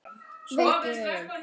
Sorg í augum.